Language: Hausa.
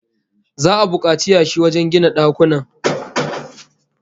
Za'a bukaci yashi wajen gina dakunan